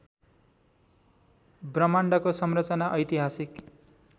ब्रह्माण्डको संरचना ऐतिहासिक